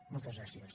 moltes gràcies